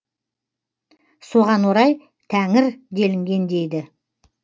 соған орай тәңір делінген дейді